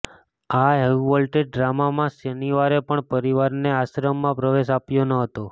આ હાઈવોલ્ટેજ ડ્રામામાં શનિવારે પણ પરિવારને આશ્રમમાં પ્રવેશ અપાયો ન હતો